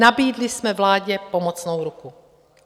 Nabídli jsme vládě pomocnou ruku.